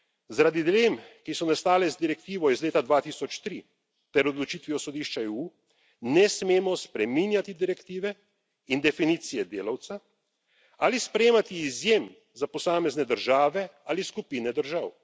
Zaradi dilem, ki so nastale z direktivo iz leta 2003 ter odločitvijo Sodišča EU, ne smemo spreminjati direktive in definicije delavca ali sprejemati izjem za posamezne države ali skupine držav.